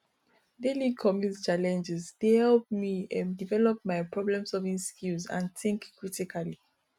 daily commute challenges dey help me um develop my problemsolving skills and think critically